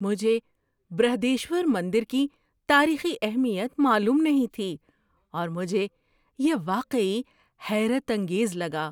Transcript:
مجھے برہدیشور مندر کی تاریخی اہمیت معلوم نہیں تھی اور مجھے یہ واقعی حیرت انگیز لگا۔